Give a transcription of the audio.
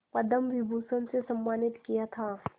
पद्म विभूषण से सम्मानित किया था